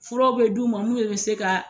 Furaw bɛ d' u ma bɛ se ka.